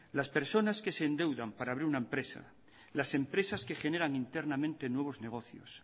las personas que se endeudan para abrir una empresa las empresas que generan internamente nuevos negocios